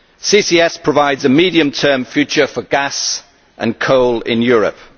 CCS provides a medium term future for gas and coal in Europe.